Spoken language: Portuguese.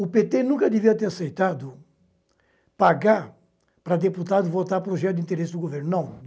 O pê tê nunca deveria ter aceitado pagar para deputado votar para o projeto de interesse do governo.